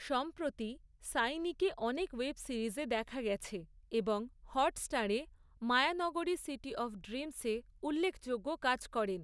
সম্প্রতি, সাইনিকে অনেক ওয়েব সিরিজে দেখা গেছে, এবং হটস্টারে, 'মায়ানগরী সিটি অফ ড্রিমসে' উল্লেখযোগ্য কাজ করেন।